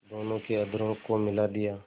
दोनों के अधरों को मिला दिया